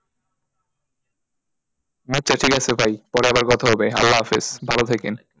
আচ্ছা ঠিক আছে ভাই পরে আবার কথা হবে আল্লাহাফেজ ভালো থাকেন,